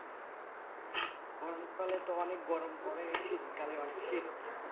গরমকালে তো অনেক গরম পড়ে শীতকালে অনেক শীত